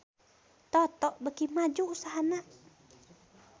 Toto beuki maju usahana